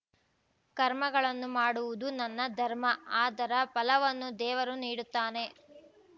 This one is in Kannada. ಕರ್ಮಗಳನ್ನು ಮಾಡುವುದು ನನ್ನ ಧರ್ಮ ಅದರ ಫಲವನ್ನು ದೇವರು ನೀಡುತ್ತಾನೆ